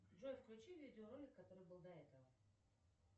джой включи видеоролик который был до этого